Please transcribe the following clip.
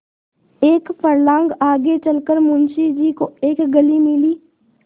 एक फर्लांग आगे चल कर मुंशी जी को एक गली मिली